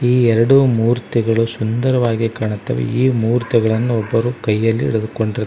ಈ ಎರಡು ಮೂರ್ತಿಗಳು ಸುಂದರವಾಗಿ ಕಾಣುತ್ತವೆ ಈ ಮೂರ್ತಿಗಳನ್ನು ಒಬ್ಬರು ಕೈಯಲ್ಲಿ ಹಿಡಿದುಕೊಂಡಿರು--